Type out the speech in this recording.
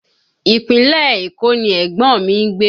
Ìpínlẹ̀ Èkó ni ẹ̀gbọ́n mi ń gbé